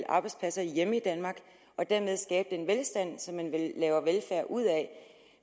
arbejdspladserne hjemme i danmark og dermed skabe den velstand som man vel laver velfærd ud af